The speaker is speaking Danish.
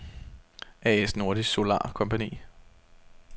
A/S Nordisk Solar Compagni